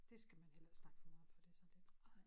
Det skal heller ikke snakke for meget om for det sådan lidt ej